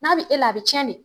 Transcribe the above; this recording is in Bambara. N'a bi e la a bi cɛn de